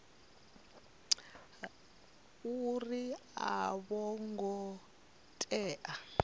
uri a vho ngo tea